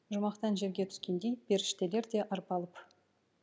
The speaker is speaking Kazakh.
жұмақтан жерге түскендей періштелер де арбалып